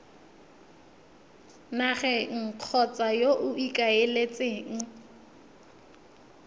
nageng kgotsa yo o ikaeletseng